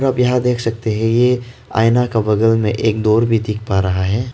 आप यहां देख सकते हैं ये आईना का बगल में एक डोर भी दिख पा रहा है।